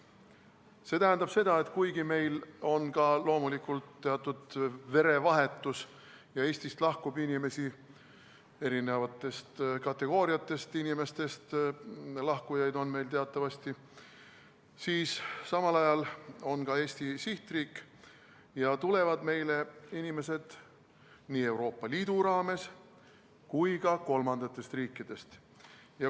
See tähendab seda, et kuigi meil on loomulikult teatud verevahetus ja Eestist lahkub inimesi – lahkujad on teatavasti eri kategooriatest –, siis samal ajal on Eesti sihtriik ja meile tulevad inimesed nii Euroopa Liidust kui ka kolmandatest riikidest.